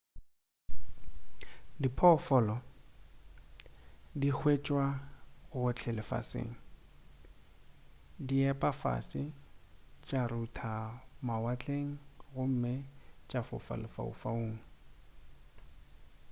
diphoofolo di hwetšwa gohle lefaseng di epa fase tša rutha ka mawatleng gomme tša fofa lefaufaung